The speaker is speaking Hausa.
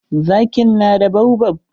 Zakin na baobab.